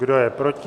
Kdo je proti?